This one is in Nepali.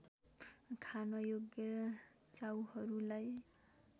खान योग्य च्याउहरूलाई